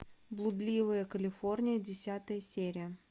блудливая калифорния десятая серия